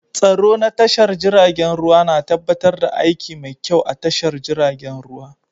Tsaro na tashar jiragen ruwa na tabbatar da aiki mai kyau a tashar jiragen ruwa